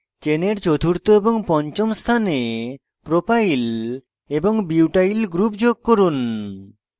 চেনের চতুর্থ of পঞ্চম স্থানে propyl propyl এবং butyl butyl groups যোগ করুন